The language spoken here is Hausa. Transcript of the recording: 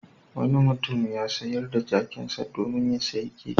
Wani mutum ya sayar da jakinsa domin ya sayi keke.